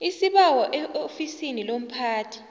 isibawo eofisini lomphathi